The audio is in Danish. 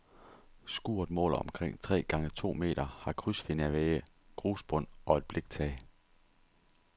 Skuret måler omkring tre gange to meter, har krydsfinervægge, grusbund og et bliktag.